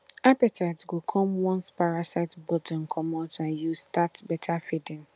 appetite go come once parasite burden comot and you start better feeding